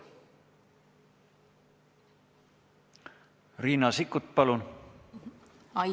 Riina Sikkut, palun!